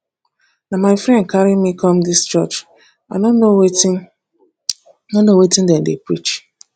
na my friend carry me come dis church i no know wetin no know wetin dem dey preach